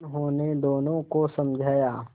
उन्होंने दोनों को समझाया